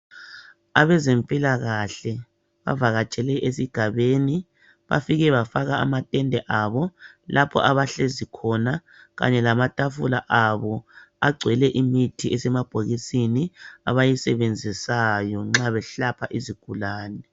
Abezempilakahle bavakatshele esigabeni bafike afaka a matende abo lapho abahlezi khona kanye lamatafula abo agcwele imithi esemabhokisini abayisebenzisayo nxa beselapha izigulane.